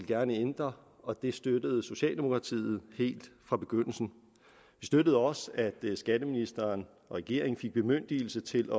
gerne ændre og det støttede socialdemokratiet helt fra begyndelsen vi støttede også at skatteministeren og regeringen fik bemyndigelse til